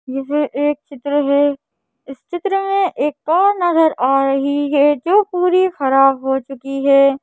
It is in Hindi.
यह एक चित्र है इस चित्र में एक कार नजर आ रही है जो पूरी खराब हो चुकी है।